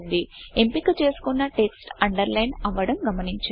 ఎంపిక చేసుకున్న text underline అవ్వడం గమనించండి